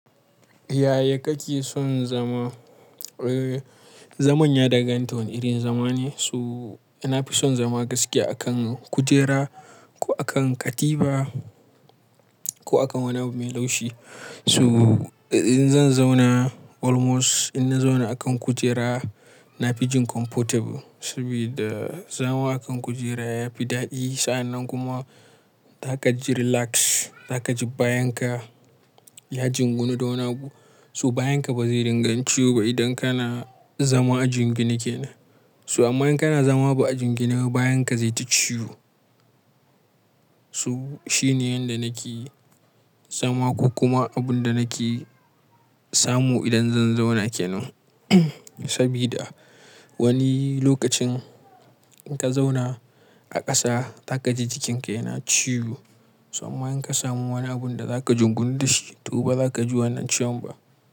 Yaya kake son zama? Eh, zaman ya dakanta wane irin zama ne. Toh, nafi son zama gaskiya a kan kujera ko a kan katifa ko a kan wani abu mai laushi. Toh, in zan zauna almost in na zauna a kan kujera nafi jin comfortable. Sabida zama a kan kujera yafi daɗi. Sa'annan kuma za ka ji relax, za ka ji bayan ka ya jingunnu da wani abu. Su bayan ka ba zai din ga ciwo ba idan kana zama ajingine kenan. Toh, amma in kana zama ba ajingine ba bayan ka zai ta ciwo. So shine yanda nake zama ko kuma abun da nake samu idan zan zauna kenan. Sabida wani lokacin in ka zauna a ƙasa za ka ji jikin ka yana ciwo. Amma in ka samu wani abun da za ka jingunu da shi to ba za ka ji wannan ciwon ba.